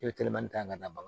E bɛ telefɔni ta k'a da bagan